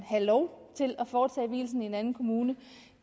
have lov til at foretage vielsen i en anden kommune